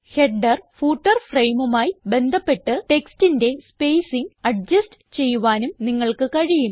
header footer frameമായി ബന്ധപ്പെട്ട് ടെക്സ്റ്റിന്റെ സ്പേസിംഗ് അഡ്ജസ്റ്റ് ചെയ്യുവാനും നിങ്ങൾക്ക് കഴിയും